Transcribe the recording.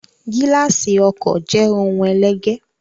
Gíláàsì ọkọ̀ jẹ ohun ẹlẹgẹ́.